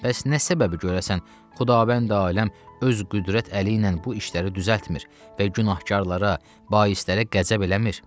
Bəs nə səbəbi görəsən, Xudavənd aləm öz qüdrət əli ilə bu işləri düzəltmir və günahkarlara, baislərə qəzəb eləmir?